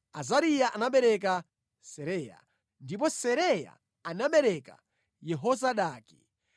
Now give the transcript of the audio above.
Azariya anabereka Seraya, ndipo Seraya anabereka Yehozadaki.